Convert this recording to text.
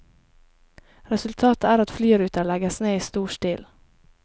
Resultatet er at flyruter legges ned i stor stil.